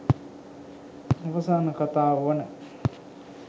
අවසාන කතාව වන